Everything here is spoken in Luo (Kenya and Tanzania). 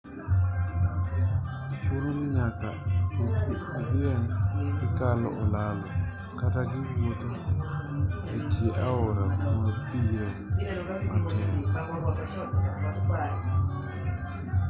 chuno ni nyaka idhieg kikalo olalo kata kiwuotho etie aora kuma bi luare matek